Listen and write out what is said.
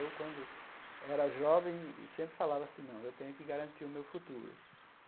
Eu, quando era jovem, sempre falava assim, não, eu tenho que garantir o meu futuro.